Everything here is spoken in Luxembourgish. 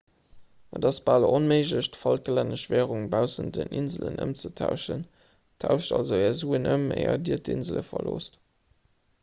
et ass bal onméiglech d'falklännesch wärung baussent den inselen ëmzetauschen tauscht also är suen ëm éier dir d'insele verloosst